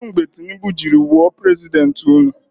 Kedụ mgbe Tinibu jiri wụọ prezidenti ụnụ?